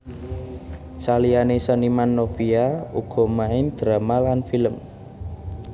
Saliyané seniman Novia uga main drama lan film